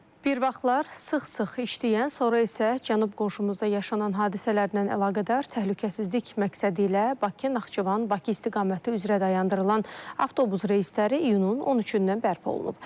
Bir vaxtlar sıx-sıx işləyən, sonra isə Cənub qonşumuzda yaşanan hadisələrlə əlaqədar təhlükəsizlik məqsədi ilə Bakı-Naxçıvan-Bakı istiqaməti üzrə dayandırılan avtobus reysləri iyunun 13-dən bərpa olunub.